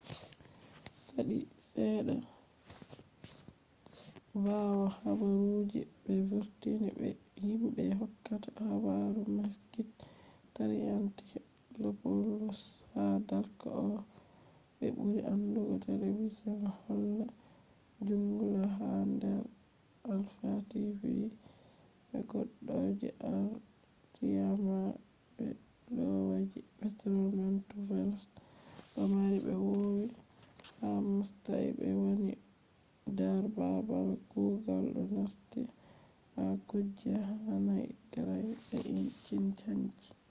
sati sedda je sali bawo habaru je be vurtini be je himbe hokkata habaru makis triantafylopoulos ha dark oh be buri andugo television holla ‘’zoungla’’ ha dar alpha tv je goddo je arliament be loyaji petros mantouvalos do mari be vowi ha mastayi be wani dar babal kugal do nasti ha kuje hanai graft be cin hanci